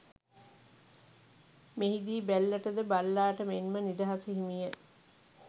මෙහි දී බැල්ලට ද බල්ලාට මෙන් ම නිදහස හිමි ය